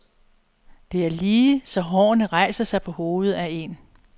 Det er lige så hårene rejser sig på hovedet af en.